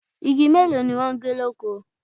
Igi mélòó ni wọ́n gé lóko?